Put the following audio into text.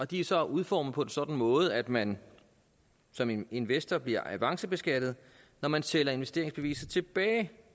de er så udformet på en sådan måde at man som investor bliver avancebeskattet når man sælger investeringsbeviser tilbage